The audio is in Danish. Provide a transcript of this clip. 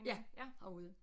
Ja herude